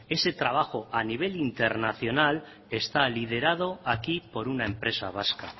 ese trabajo a nivel internacional está liderado aquí por una empresa vasca